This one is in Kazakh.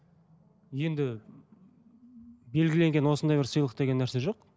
енді белгіленген осындай бір сыйлық деген нәрсе жоқ